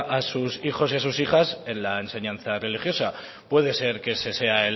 a sus hijos y a sus hijas en la enseñanza religiosa puede ser que ese sea